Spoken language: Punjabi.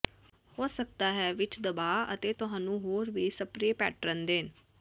ਹੋ ਸਕਦਾ ਹੈ ਵਿੱਚ ਦਬਾਅ ਅਤੇ ਤੁਹਾਨੂੰ ਹੋਰ ਵੀ ਸਪਰੇਅ ਪੈਟਰਨ ਦੇਣ